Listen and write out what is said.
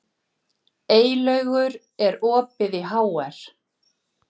Eylaugur, er opið í HR?